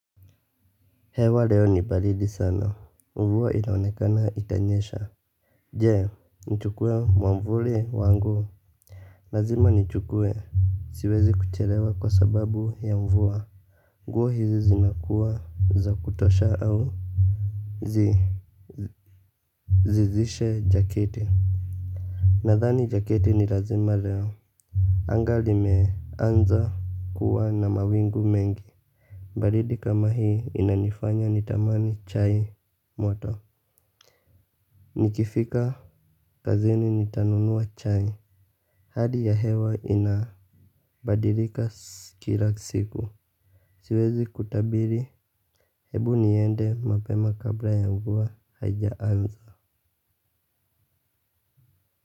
Hewa leo ni baridi sana, mvua inaonekana itanyesha. Je nichukue mwavuli wangu. Lazima nichukue, siwezi kuchelewa kwa sababu ya mvua. Nguo hizi zinakuwa za kutosha au zizishe jaketi. Nadhani jaketi ni lazima leo. Anga limeanza kuwa na mawingu mengi. Baridi kama hii inanifanya nitamani chai moto. Nikifika kazini nitanunua chai. Hali ya hewa inabadilika kila siku. Siwezi kutabiri hebu niende mapema kabla ya mvua haijaanza.